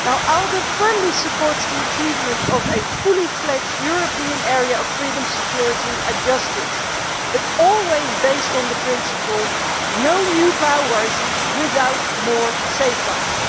ALDE firmly supports the achievement of a fully fledged European area of freedom, security and justice, but always based on the principle of no new powers without more safeguards.